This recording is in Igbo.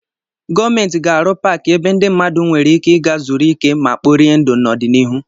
Gọọmenti ga-arụ paakị ebe ndị mmadụ nwere ike ị gaa zuru ike ma kporie ndụ n'ọdịnihu.